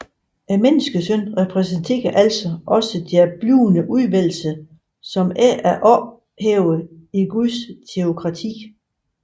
Menneskesønnen repræsenterer altså også deres blivende udvælgelse som ikke er ophævet i Guds teokrati